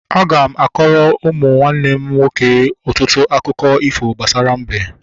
Aga m akọrọ ụmụ nwanne m nwoke ọtụtụ akụkọ ifo gbasara mbe